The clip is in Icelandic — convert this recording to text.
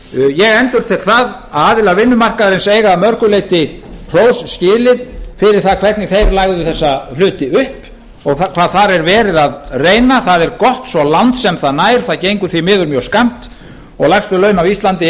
ég endurtek það að aðilar vinnumarkaðarins eiga að mörgu leyti hrós skilið fyrir það hvernig þeir lögðu þessa hluti upp og hvar þar er verið að reyna það er gott svo langt sem það nær það gengur því miður mjög skammt og lægstu laun á íslandi